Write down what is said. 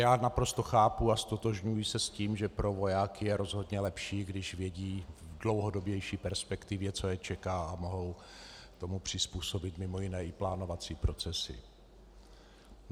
Já naprosto chápu a ztotožňuji se s tím, že pro vojáky je rozhodně lepší, když vědí v dlouhodobější perspektivě, co je čeká, a mohou tomu přizpůsobit mimo jiné i plánovací procesy.